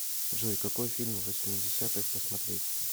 джой какой фильм восьмидесятых посмотреть